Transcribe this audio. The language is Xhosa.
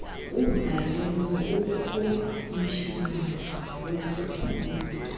ubhalele ukhomishina wesikhululo